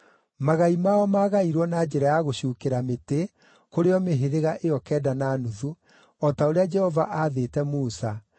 Magai mao maagairwo na njĩra ya gũcuukĩra mĩtĩ kũrĩ o mĩhĩrĩga ĩyo kenda na nuthu, o ta ũrĩa Jehova aathĩte Musa,